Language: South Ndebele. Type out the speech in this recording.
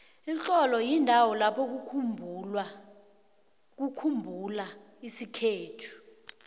ixholo yindawo lapho kukhumbula isikhethu